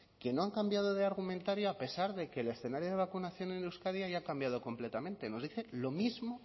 que no han cambiado de argumentario a pesar de que el escenario de vacunación en euskadi haya cambiado completamente nos dice lo mismo